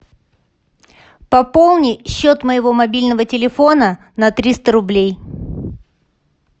пополни счет моего мобильного телефона на триста рублей